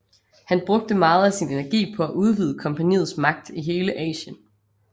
Han brugte meget af sin energi på at udvide kompagniets magt i hele Asien